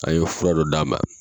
An ye fura dɔ d'a ma.